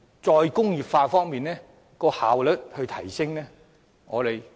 "再工業化"如何可以提升效率？